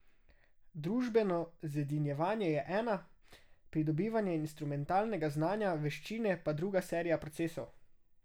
Družbeno zedinjevanje je ena, pridobivanje instrumentalnega znanja, veščine pa druga serija procesov.